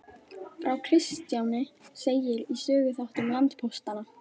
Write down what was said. Frá Kristjáni segir í Söguþáttum landpóstanna.